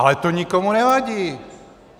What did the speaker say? Ale to nikomu nevadí.